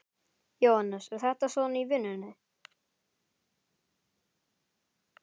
Jóhannes: Er þetta svona í vinnunni?